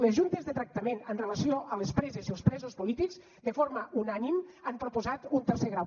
les juntes de tractament amb relació a les preses i els presos polítics de forma unànime han proposat un tercer grau